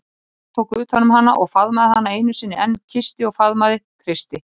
Örn tók utan um hana og faðmaði hana einu sinni enn, kyssti og faðmaði, kreisti.